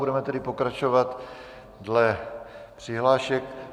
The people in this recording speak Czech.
Budeme tedy pokračovat dle přihlášek.